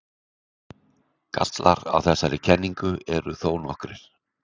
Gallar á þessari kenningu eru þó nokkrir.